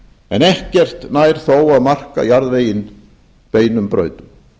en ekkert nær þó að marka jarðveginn beinum brautum